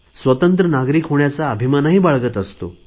स्वतंत्र नागरिक होण्याचा अभिमानही बाळगत आहोत